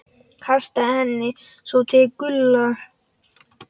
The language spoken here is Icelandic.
Kastaði henni svo til Gulla.